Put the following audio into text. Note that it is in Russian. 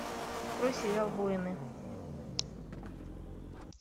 открой сериал воины